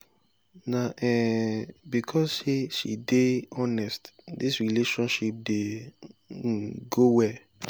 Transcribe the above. na um because sey she dey honest dis relationship dey um go well.